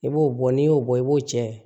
I b'o bɔ n'i y'o bɔ i b'o cɛn